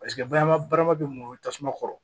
Paseke barama bɛ mun ye tasuma kɔrɔ